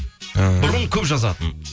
ыыы бұрын көп жазатынмын